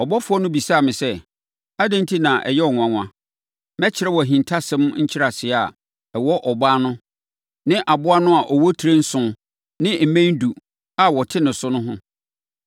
Ɔbɔfoɔ no bisaa me sɛ, “Adɛn enti na ɛyɛ wo nwanwa? Mɛkyerɛ wo ahintasɛm nkyerɛaseɛ a ɛwɔ ɔbaa no ne aboa no a ɔwɔ tire nson ne mmɛn edu a ɔte ne so no ho.